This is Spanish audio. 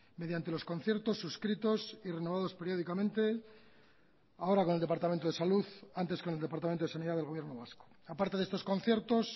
mediante los conciertos suscritos y renovados periódicamente ahora con el departamento de salud antes con el departamento de sanidad del gobierno vasco aparte de estos conciertos